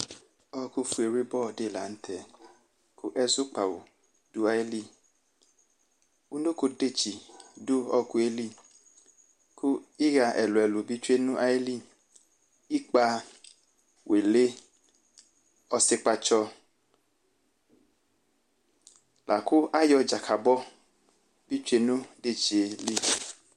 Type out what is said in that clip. ɔɔkufi wlibɔ di lanu tɛkʋ ɛzu kpawu dʋ ayiliunokodetsi dʋ ɔɔkʋ yɛ liku iɣa ɛlu ɛlu bi tsoe nʋ ayili: ɩkpə, wili, ɔsi kpatsɔlakʋ ayɔ Dzakabɔ bi tsoe nu idetsi yɛ li